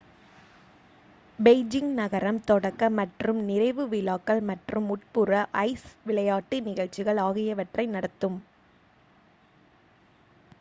Beijing நகரம் தொடக்க மற்றும் நிறைவு விழாக்கள் மற்றும் உட்புற ஐஸ் விளையாட்டு நிகழ்ச்சிகள் ஆகியவற்றை நடத்தும்